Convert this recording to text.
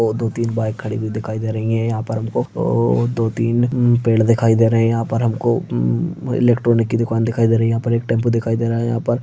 और दो तीन बाइक खड़ी हुए दिखाई दे रही है यहाँ पर हमको और दो तीन पेड़ दिखाई दे रहे है यहां पर हमको उम्म इलेक्ट्रॉनिक की दुकान दिखाई दे रही है यहाँ पर एक टेंपू दिखाई दे रहा है यहाँ पर।